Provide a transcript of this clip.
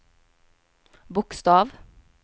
bokstav